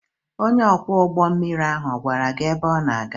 Onye ọkwọ ụgbọ mmiri ahụ ọ̀ gwara gị ebe ọ na-aga?